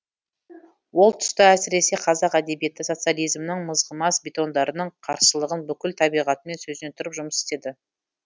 ол тұста әсіресе қазақ әдебиеті социализмнің мызғымас бетондарының қарсылығын бүкіл табиғатымен сөзіне тұрып жұмыс істеді